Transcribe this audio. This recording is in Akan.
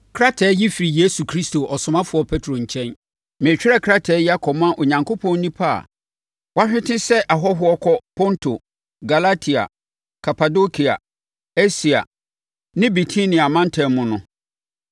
Krataa yi firi Yesu Kristo ɔsomafoɔ Petro nkyɛn, Meretwerɛ krataa yi akɔma Onyankopɔn nnipa a wɔahwete sɛ ahɔhoɔ kɔ Ponto, Galatia, Kapadokia, Asia ne Bitinia amantam mu no.